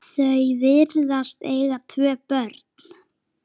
Þau virðast eiga tvö börn.